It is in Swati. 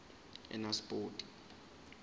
enasipoti